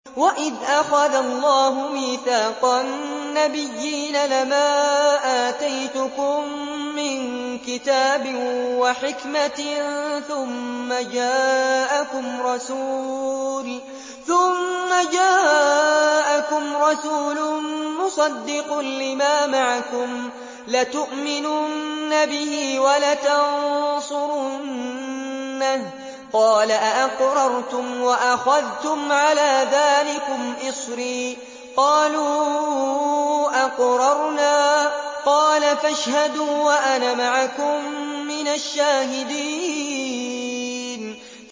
وَإِذْ أَخَذَ اللَّهُ مِيثَاقَ النَّبِيِّينَ لَمَا آتَيْتُكُم مِّن كِتَابٍ وَحِكْمَةٍ ثُمَّ جَاءَكُمْ رَسُولٌ مُّصَدِّقٌ لِّمَا مَعَكُمْ لَتُؤْمِنُنَّ بِهِ وَلَتَنصُرُنَّهُ ۚ قَالَ أَأَقْرَرْتُمْ وَأَخَذْتُمْ عَلَىٰ ذَٰلِكُمْ إِصْرِي ۖ قَالُوا أَقْرَرْنَا ۚ قَالَ فَاشْهَدُوا وَأَنَا مَعَكُم مِّنَ الشَّاهِدِينَ